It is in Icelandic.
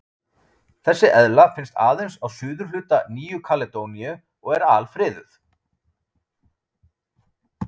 Þessi eðla finnst aðeins á suðurhluta Nýju-Kaledóníu og er alfriðuð.